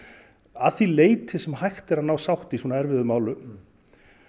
að því leyti sem hægt er að ná sátt í svona erfiðum málum